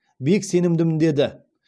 бек сенімдімін деді